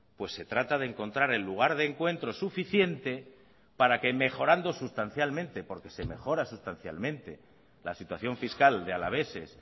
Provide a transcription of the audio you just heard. pues se trata de encontrar el lugar de encuentro suficiente para que mejorando sustancialmente porque se mejora sustancialmente la situación fiscal de alaveses